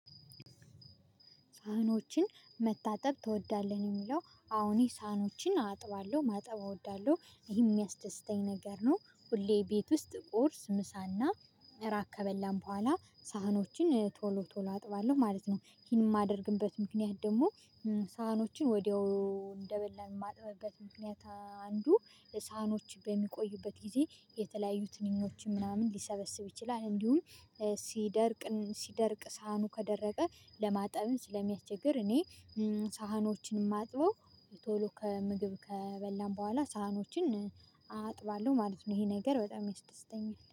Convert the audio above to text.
ሳህኖችን መታጠብ ትወዳለህ? የሚለው አዎ ሳህኖችን አጥባለሁ ማጠብ እወዳለሁ ይሄ የሚያስደስተኝ ነገር ነው። ሁሌ ቤት ውስጥ ቁርስ ምሳና መራቅ ከበላን በኋላ ሳህኖችን ቶሎ ቶሎ አጥባለሁ ማለት ነው። ይሄን የማደርግበት ምክንያት ደግሞ ሳህኖችን ወዲያው እንደበለን ማጥበብበት ምክንያት አንዱ ሳህኖች በሚቆዩበት ጊዜ የተለያዩ ትንኞችን ምናምን ሊሰበስብ ይችላል። እንዲሁም ሲደርቅ ሲደርቅ ሳህኑ ከደረቀ ለማጠብም ስለሚያስቸግር። እኔ ሳህኖችን የማጥበው ቶሎ ከምግብ ከበላን በኋላ ሳህኖችን አጥባለሁ ማለት ነው። ይሄ ነገር በጣም ይስደስተኛል